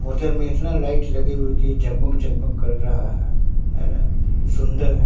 Hotel में इतना light लगे हुई है की जग मग की रहा है है ना सुंदर है।